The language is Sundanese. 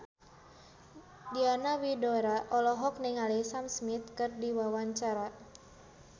Diana Widoera olohok ningali Sam Smith keur diwawancara